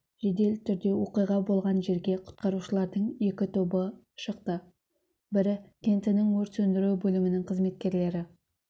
жедел түрде оқиға болған жерге құтқарушылардың екі тобы шықты бірі кентінің өрт сөндіру бөлімінің қызметкерлері